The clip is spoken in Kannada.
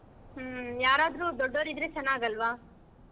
ಹ್ಮ್ ಯಾರಾದ್ರು ದೊಡ್ಡೋವ್ರ್ ಇದ್ರೆ ಚನ್ನಾಗ್ ಅಲ್ವಾ?